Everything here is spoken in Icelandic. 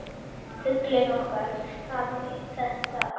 Fuglinn okkar hafði þetta allt.